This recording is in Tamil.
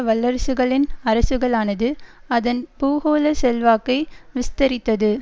வல்லரசுகளின் அரசுகளானது அதன் பூகோள செல்வாக்கை விஸ்தரித்தது